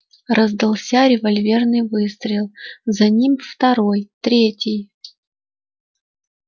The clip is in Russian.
раздался револьверный выстрел за ним второй третий